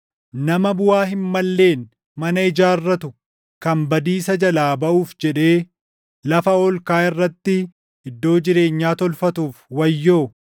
“Nama buʼaa hin malleen mana ijaarratu kan badiisa jalaa baʼuuf jedhee lafa ol kaʼaa irratti iddoo jireenyaa tolfatuuf wayyoo!